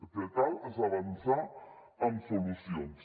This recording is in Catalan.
el que cal és avançar amb solucions